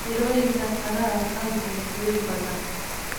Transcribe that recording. Mirooyinka qaraha waxaa jecel biyo badan.